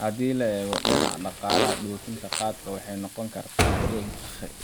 Haddii laga eego dhinaca dhaqaalaha, dhoofinta qaadka waxay u noqon kartaa